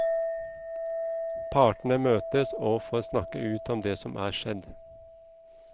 Partene møtes og får snakke ut om det som er skjedd.